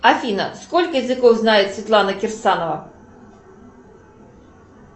афина сколько языков знает светлана кирсанова